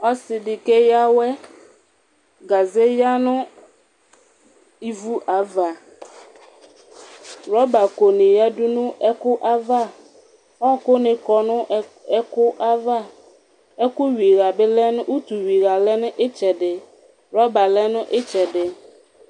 ɔse di keya awɛ gaze ya no ivu ava rɔba ko ni yadu no ɛko ava ɔku ni kɔ no ɛko ava ɛko wi iɣà bi lɛ no utu wi iɣà lɛ n'itsɛdi rɔba lɛ n'itsɛdi